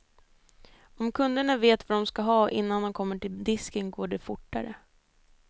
Om kunderna vet vad de ska ha innan de kommer till disken går det fortare.